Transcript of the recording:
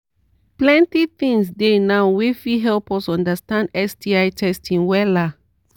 plenty things dey now wey fit help us understand sti testing wella